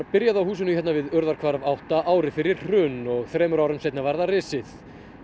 byrjað á húsinu hérna við Urðarhvarf átta ári fyrir hrun og þremur árum seinna var það risið